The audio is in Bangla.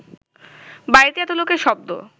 বাড়িতে এত লোকের শব্দ